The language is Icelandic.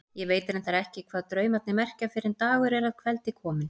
Ég veit reyndar oft ekki hvað draumarnir merkja fyrr en dagur er að kveldi kominn.